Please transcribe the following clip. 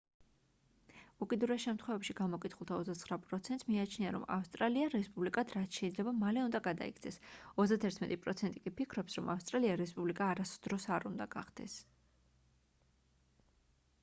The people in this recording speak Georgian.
უკიდურეს შემთხვევებში გამოკითხულთა 29 პროცენტს მიაჩნია რომ ავსტრალია რესპუბლიკად რაც შეიძლება მალე უნდა გადაიქცეს 31 პროცენტი კი ფიქრობს რომ ავსტრალია რესპუბლიკა არასდროს არ უნდა გახდეს